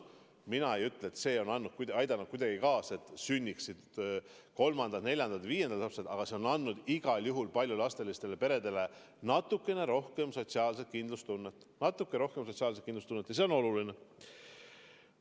Mina ei ütle, et see on aidanud kuidagi kaasa, et sünniksid kolmandad, neljandad või viiendad lapsed, aga see on andnud igal juhul paljulapselistele peredele natukene rohkem sotsiaalset kindlustunnet, ja see on oluline.